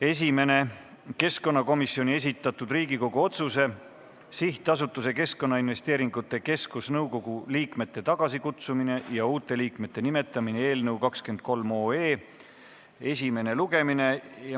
Esiteks, keskkonnakomisjoni esitatud Riigikogu otsuse "Sihtasutuse Keskkonnainvesteeringute Keskus nõukogu liikmete tagasikutsumine ja uute liikmete nimetamine" eelnõu 23 esimene lugemine.